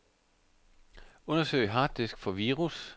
Undersøg harddisk for virus.